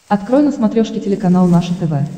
открой на смотрешке телеканал наше тв